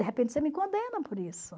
De repente você me condena por isso.